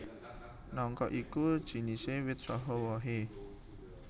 Nangka iku jinisé wit saha wohé